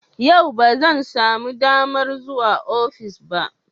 Yau ba zan samu damar zuwa ofis ba.